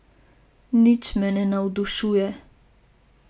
Nič me ne navdušuje.